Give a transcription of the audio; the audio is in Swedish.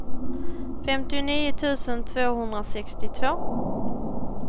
femtionio tusen tvåhundrasextiotvå